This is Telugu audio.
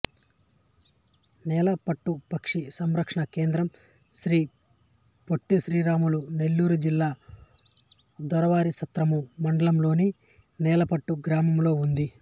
నేలపట్టు పక్షి సంరక్షణా కేంద్రం శ్రీ పొట్టి శ్రీరాములు నెల్లూరు జిల్లా దొరవారిసత్రము మండలంలోని నేలపట్టు గ్రామంలో ఉంది